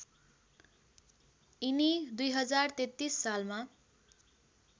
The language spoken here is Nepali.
यिनी २०३३ सालमा